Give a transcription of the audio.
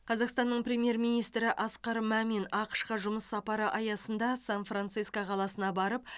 қазақстанның премьер министрі асқар мамин ақш қа жұмыс сапары аясында сан франциско қаласына барып